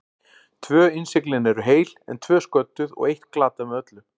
Tvö innsiglin eru heil, en tvö sködduð og eitt glatað með öllu.